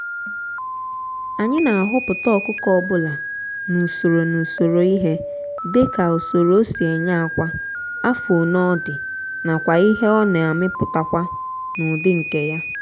anyị na ahoputa ọkụkọ obula n'usoro n'usoro ihe dika usoro osi enye akwa afọ-one ọ dị nakwa ihe ọ na-amuputakwa na ụdị nke ya.